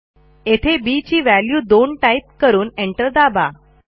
येथे बी ची value 2 type करून एंटर दाबा